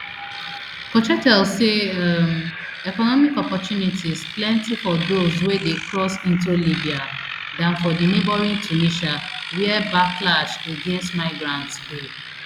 cochetel say um economic opportunities plenty for dose wey dey cross into libya dan for neighbouring tunisia wia backlash against migrants dey